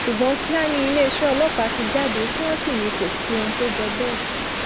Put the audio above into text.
ṣùgbọn kíá ni iléeṣẹ ọlọpàá ti jáde tí wọn sì ní kò sí ohun tó jọ bẹẹ